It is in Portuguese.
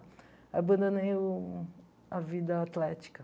Aí abandonei o a vida atlética.